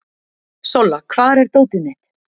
Solla, hvar er dótið mitt?